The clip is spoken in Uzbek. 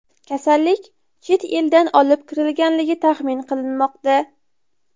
Kasallik chet eldan olib kirilganligi taxmin qilinmoqda.